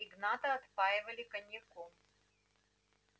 игната отпаивали коньяком